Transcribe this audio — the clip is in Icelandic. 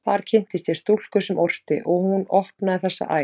Þar kynntist ég stúlku sem orti, og hún opnaði þessa æð.